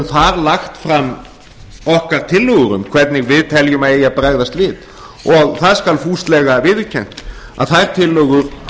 þar lagt fram okkar tillögur um hvernig við teljum að eigi að bregðast við og það skal fúslega viðurkennt að þær tillögur